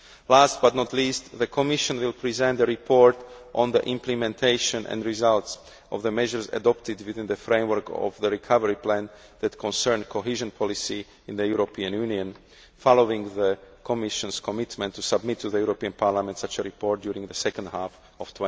Last but not least, the Commission will present a report on the implementation and results of the measures adopted within the framework of the recovery plan that concern cohesion policy in the European Union, following the Commission's commitment to submit to the European Parliament such a report during the second half of